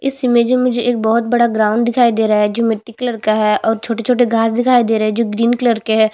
इस इमेज में मुझे मुझे एक बहोत बड़ा ग्राउंड दिखाई दे रहा है जो मिट्ठी कलर का है और छोटे - छोटे घास दिखाई दे रहै है जो ग्रीन कलर के है।